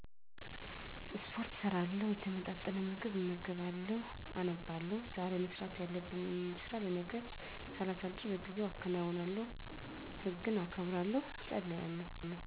ስፖርት እሰራለሁ፣ የተመጣጠነ ምግብ እመገባለሁ፣ አነባለሁ፣ ዛሬ መስራት ያለብኝን ስራ ለነገ ሳላሳድር በጊዜው አከናውናለሁ፣ ሕግን አከብራለሁ፣ እፀልያለሁ